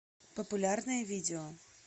популярное видео